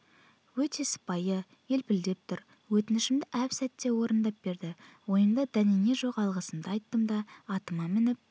өте сыпайы елпілдеп тұр өтінішімді әп-сәтте орындап берді ойымда дәнеңе жоқ алғысымды айттым да атыма мініп